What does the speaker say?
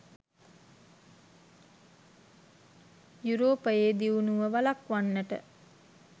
යුරෝපයේ දියුණුව වළක්වන්නට